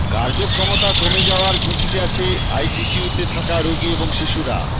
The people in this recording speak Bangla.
কার্যক্ষমতা কমে যাওয়ায় ঝুঁকিতে আছে আইসিইউতে থাকা রোগী এবং শিশুরা